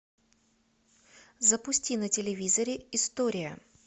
запусти на телевизоре история